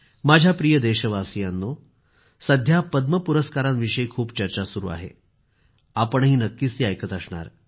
माझ्या प्रिय देशवासियांनो सध्या पद्म पुरस्कारांविषयी खूप चर्चा सुरू आहे आपणही नक्कीच ती ऐकत असणार